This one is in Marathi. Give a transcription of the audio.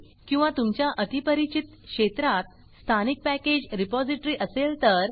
किंवा तुमच्या अतिपरिचित क्षेत्रात स्थानिक पॅकेज रिपॉज़िटरी असेल तर